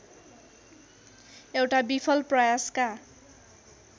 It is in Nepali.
एउटा विफल प्रयासका